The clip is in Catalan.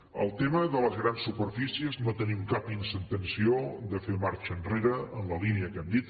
en el tema de les grans superfícies no tenim cap intenció de fer marxa enrere en la línia que hem dit